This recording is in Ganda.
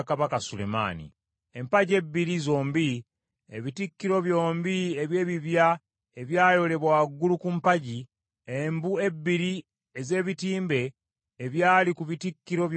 Empagi ebbiri zombi; ebitikkiro byombi eby’ebibya ebyayolebwa waggulu ku mpagi; embu ebbiri ez’ebitimbe ebyali ku bitikkiro byombi eby’empagi;